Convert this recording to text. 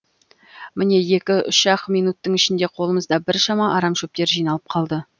міне екі үш ақ минуттың ішінде қолымызда біршама арам шөптер жиналып қалды